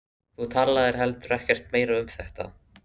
Þú talaðir heldur ekkert meira um þetta.